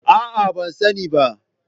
A'a, ban sani ba.